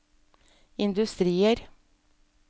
industrier